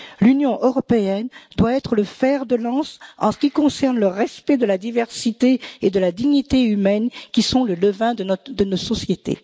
L'Union européenne doit être le fer de lance en ce qui concerne le respect de la diversité et de la dignité humaine, qui sont le levain de nos sociétés.